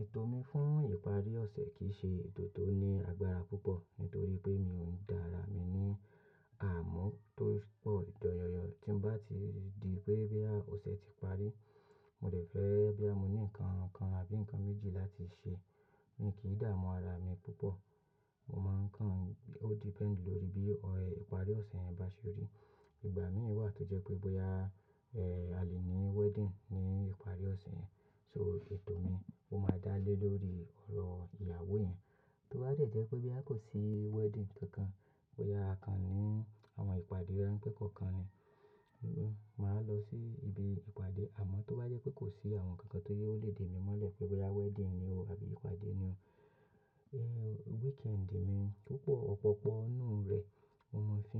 Ètò mi fún ìparí ọ̀sẹ̀ kì í ṣe ètò tó ní agbára púpọ̀ nítorí pé mi ò ń dá ara mi ní àmú tó pọ̀. Dan yẹ́nyẹ́n tí n bá ti di pé bóyá ọ̀sẹ̀ ti parí, mo lè fẹ́ bóyá mo ní nǹkan kan àbí nǹkan méjì láti ṣe. Mi kì í dààmú ara mi púpọ̀. Mo máa ń kàn, ó depend lórí bí ìparí ọ̀sẹ̀ yẹn bá ṣe rí. Ìgbà míì wà tó jẹ́ pé bóyá, ẹ, a lè ní wedding ní ìparí ọ̀sẹ̀ yẹn, so ètò mi ó máa dá lé lórí ọ̀rọ̀ ìyàwó yẹn. Tó bá dẹ̀ jẹ́ pé bóyá kò sí wedding kankan, bóyá a kan ní àwọn ìpàdé ránpẹ́ kọ̀ọ̀kan ni, mo máa lọ sí ibi ìpàdé. Àmọ́ tó bá jẹ́ pé kò sí àwọn kankan tó jẹ pe ó lè dè mi mọ́lẹ̀ pé bóyá wedding ni o àbí ìpàdé ni o, ẹ, weekend mi púpọ̀, ọ̀pọ̀pọ̀ nínú rẹ̀ mo máa ń fi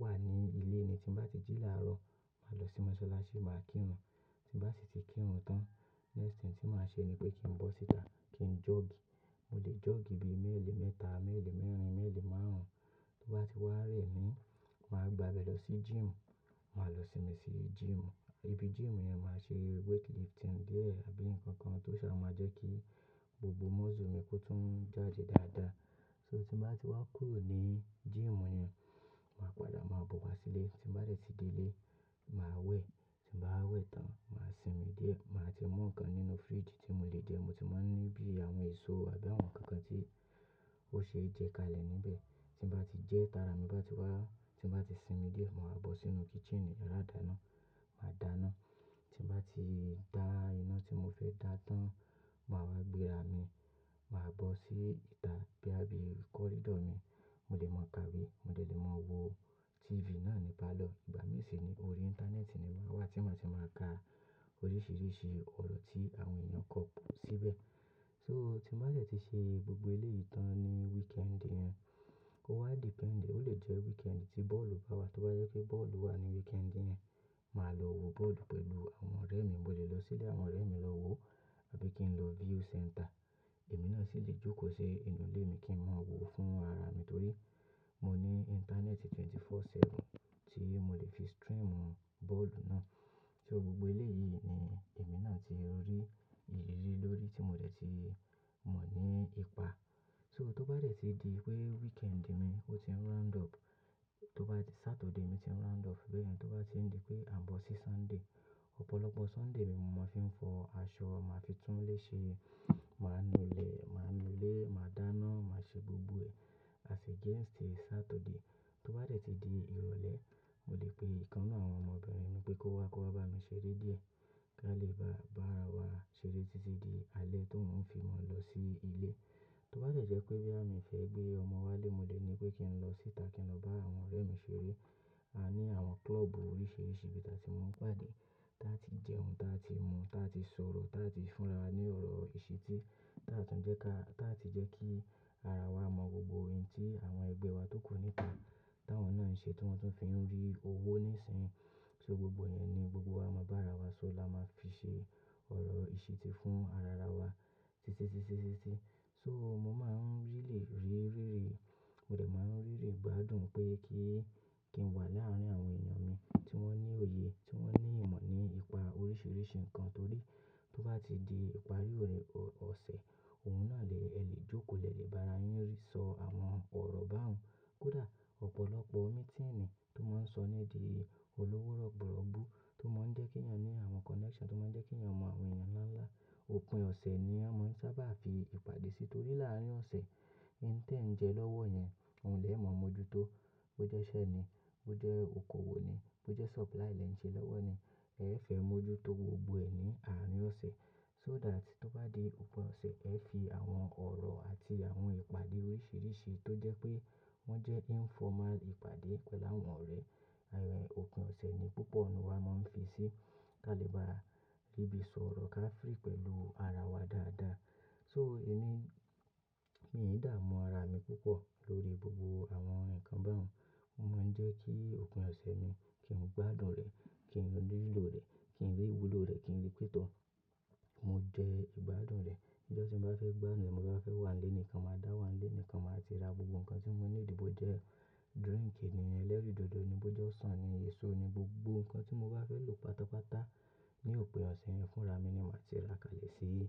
wà ní ilé ni. Tí bá ti jí làárọ̀, màá lọ sí mọ́sálásí, màá kírun. Tí n bá sì ti kírun tán, next thing tí màá ṣe ni pé kí n bọ́ síta kí n jọ́ọ̀gì. Mo lè jọ́ọ̀gì bíi mẹ́ẹ̀lì mẹ́ta, mẹ́ẹ̀lì mẹ́rin, mẹ́ẹ̀lì márùn-ún. Tó bá ti wá rẹ̀ ni, màá gbabẹ̀ lọ sí gym. Màá lọ sinmi sí gym. Ibi gym yẹn màá ṣe weight lifting díẹ̀ àbí nǹkan kan tó sábà máa jẹ́ kí gbogbo muscle mi kó tún jáde dáadáa. So tí n bá ti wá kúrò ní gym yẹn, màá padà máa bọ̀ wá sílé. Tí n bá dẹ̀ ti délé, màá wẹ̀. Tí n bá wá wẹ̀ tán, màá sinmi díẹ̀. Màá ti mú nǹkan nínú fridge tí mo lè jẹ. Mo ti máa ń ní bí àwọn èso àbí àwọn nkankan tí ó ṣe é jẹ kalẹ̀ níbẹ̀. Tí n bá ti jẹ́ ta ra mi bá ti wá, tí n bá ti sinmi díẹ̀, màá bọ́ sínú kitchen, yàrá ìdáná, màá dá iná. Tí n bá ti dá iná tí mo fẹ́ dá tán, màá wá gbéra mi, màá bọ́ síta bóyá bíi corridor mi. Mo lè máa kawe, mo dẹ̀ lè máa wo TV náà ní parlour. Ìgbà míì sì ni orí ìntánẹ́ẹ̀tì ni màá wà, tí màá ti máa ka oríṣìíríṣìí ọ̀rọ̀ tí àwọn ènìyàn kọ síbẹ̀. So tí n bá dẹ̀ ti ṣe gbogbo eléyìí tán ní weekend yẹn, ó wa depend, ó lè jẹ́ weekend tí bọ́ọ̀lù bá wà. Tó bá jẹ́ pé bọ́ọ̀lù wà ní weekend yẹn, màá lọ wo bọ́ọ̀lù pẹ̀lú àwọn ọ̀rẹ́ mi. Mo lè lọ sílé àwọn ọ̀rẹ́ mi lọ wòó àbí kí n lọ view centre. Èmi náà sì lè jókòó se inú ilé mi kí n máa wòó fún ara mi torí mo ní ìntánẹ́ẹ̀tì 24/7 tí mo lè fi stream bọ́ọ̀lù náà. So gbogbo eléyìí ni èmi náà ti rí ìrírí lórí tí mo dẹ̀ ti mọ̀ ní ipa. So tó bá dẹ̀ ti di pé weekend mi ó ti ń round up, tó bá di Saturday mi ti ń round up bẹ́ẹ̀ yẹn, tó bá ti ń di pé à ń bọ́ sí Sunday, ọ̀pọ̀lọpọ̀ Sunday mi mo máa ń fi fọ aṣọ, màá fi túnlé ṣe, màá nu ilẹ̀, màá nu ilé, màá dá iná, màá ṣe gbogbo ẹ̀, as against Saturday. Tó bá dẹ̀ ti di ìrọ̀lẹ́, mo lè pe ìkan nínú àwọn ọmọbìnrin mi pé kó wá, kó wá bá mi ṣeré díẹ̀ kí a lè bá ara wa ṣeré títí di alẹ́ tóun fi mọ lọ sí ilé. Tó bá dẹ̀ jẹ́ pé bóyá mi ò fẹ́ gbé ọmọ wá ilé, mo dẹ̀ ní pé kí n lọ síta, kí n lọ bá àwọn ọ̀rẹ́ mi ṣeré. A ní àwọn club oríṣiríṣi ibi ta tí mọ ń pàdé, táa ti jẹun, táa ti mu, táa ti sọ̀rọ̀, táa ti fún rawa ní ọ̀rọ̀ ìṣìtí, táa ti jẹ́ ká, táa ti jẹ́ kí ara wa mọ̀ gbogbo ohun tí àwọn ẹgbẹ́ wa tó kù níta, táwọn náà ń ṣe tí wọ́n tún fi ń rí owó níìsín. So gbogbo yẹn ni gbogbo wa máa ń bá ara wa sọ̀, la máa ń fi ṣe ọ̀rọ̀ ìṣìtí fún ara wa. Títí, títí, títí, títí. So mo máa ń really rí rírì, mo dẹ̀ máa ń rí ìgbádùn pé kí, kí n wà láàárín àwọn èyàn mi tí wọ́n ní òye, tí wọ́n ní ìmọ̀ ní ipa oríṣìíríṣìí nǹkan torí tó bá ti di ìparí ọ̀sẹ̀, òun náà lè, ẹ lè jókòó, lẹ lè bá ara yín sọ àwọn ọ̀rọ̀ báhun. Kódà ọ̀pọ̀lọpọ̀ meeting tó máa ń sọní dìí olówó rọ̀bọ̀róbó tó máa ń jẹ́ kí èyàn ní àwọn connection tó máa ń jẹ́ kí èyàn mọ àwọn èyàn ńlá ńlá. Òpin ọ̀sẹ̀ ni a máa ń sábà fi ìpàdé sí torí láàárín ọ̀sẹ̀, ohun tí ẹ̀ ń jẹ lọ́wọ́ yẹn, òun lẹ̀ mọ̀ mójútó. Bó jẹ́ iṣẹ́ ni, bó jẹ́ okoòwò ni, bó jẹ́ supply lẹ ń ṣe lọ́wọ́ ni, ẹ fẹ́ mójútó gbogbo ẹ̀ ní àárín ọ̀sẹ̀. So that tó bá di òpin ọ̀sẹ̀, ẹ fi àwọn ọ̀rọ̀ àti àwọn ìpàdé oríṣìíríṣìí tó jẹ́ pé wọ́n jẹ́ informal ìpàdé pẹ̀lú àwọn ọ̀rẹ́. Àwọn òpin ọ̀sẹ̀ ni púpọ̀ nínú wa máa ń fi sí kí a lè bá rí bí sọ̀rọ̀ ká free pẹ̀lú ara wa dáadáa. So èmi, mi ì dààmú ara mi púpọ̀ lórí gbogbo àwọn nǹkan báhun. Ó máa ń jẹ́ kí òpin ọ̀sẹ̀ mi kí n gbádùn rẹ̀, kí n rí ìlò rẹ̀, kí n rí ìwúlò rẹ̀, kí n rí pẹ́ tọ́. Mo jẹ ìgbádùn rẹ̀. Ǹíjọ́ tí mo bá fẹ́ gbádùn, bi mo bá fẹ́ wà nílé nìkan, màá dá wà nílé nìkan. Màá ti ra gbogbo nǹkan tí mo níìdì bò jẹ́ drink ènìyàn ẹlẹ́rìí dòdò ni, bó jẹ́ ọsàn ni, èso ni, gbogbo nǹkan tí mo bá fẹ́ lò pátápátá ní òpin ọ̀sẹ̀ yẹn fúnra mi ni màá ti ra kalẹ̀ sí ilé.